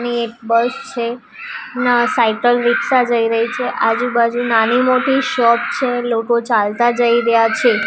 એક બસ છે ન સાયકલ રીક્ષા જઈ રહી છે આજુબાજુ નાનીમોટી શોપ છે લોકો ચાલતા જઈ રયા છે.